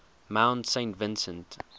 mount saint vincent